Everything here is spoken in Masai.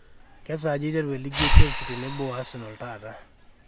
kesaaja eiteru e league e chelsea tenebo o Arsenal taata